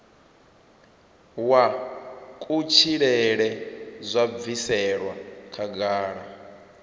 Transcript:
wa kutshilele zwo bviselwa khagala